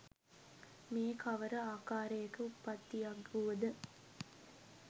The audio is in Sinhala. මේ කවර ආකාරයක උප්පත්තියක් වුවද